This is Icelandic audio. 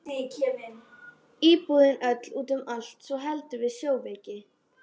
Íbúðin öll út um allt svo heldur við sjóveiki.